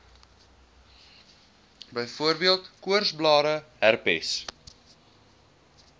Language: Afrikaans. byvoorbeeld koorsblare herpes